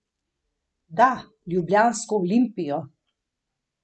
Da, ljubljansko Olimpijo.